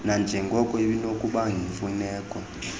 nanjengoko kunokuba yimfuneko